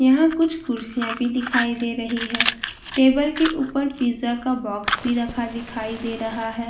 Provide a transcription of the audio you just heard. यहां कुछ कुर्सियां भी दिखाई दे रही है टेबल के ऊपर पिज़्ज़ा का बॉक्स भी रखा दिखाई दे रहा है।